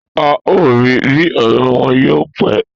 A o ri bi ọrẹ wọn yóò pẹ